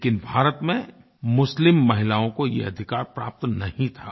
लेकिन भारत में मुस्लिम महिलाओं को यह अधिकार प्राप्त नहीं था